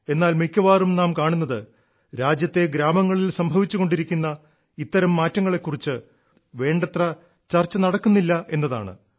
എന്നാൽ മിക്കവാറും നാം കാണുന്നത് രാജ്യത്തെ ഗ്രാമങ്ങളിൽ സംഭവിച്ചുകൊണ്ടിരിക്കുന്ന ഇത്തരം മാറ്റങ്ങളെ കുറിച്ച് വേണ്ടത്ര ചർച്ച നടക്കുന്നില്ല എന്നതാണ്